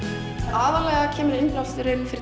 aðallega kemur innblásturinn fyrir